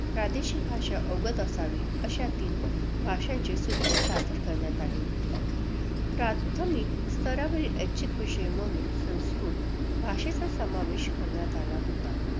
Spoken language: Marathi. प्रादेशिक भाषा अवगत असावी, अशा तीन भाषांचे सूत्र सादर करण्यात आले होते. प्राथमिक स्तरावरील ऐच्छिक विषय म्हणून संस्कृत भाषेचा समावेश करण्यात आला होता.